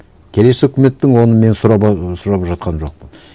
келесі үкіметтің оны мен сұрап ы сұрап жатқан жоқпын